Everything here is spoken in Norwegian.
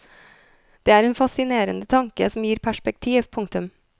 Det er en fascinerende tanke som gir perspektiv. punktum